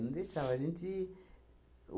Não deixava a gente.